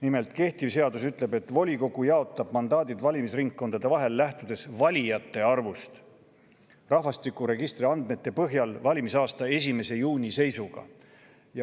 Nimelt, kehtiv seadus ütleb, et volikogu jaotab mandaadid valimisringkondade vahel, lähtudes valijate arvust rahvastikuregistri andmete põhjal valimisaasta 1. juuni seisuga.